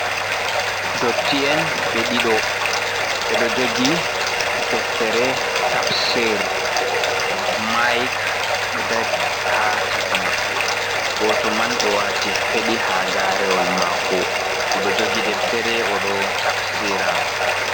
Dotti en ɓe ɗiɗo, ɓeɗo jogi deftere tabsir, maik ɗo dari ha chaka maɓɓe, goto man do wati feɗi ha garewol mako o ɗo jogi deftere o do tabsira.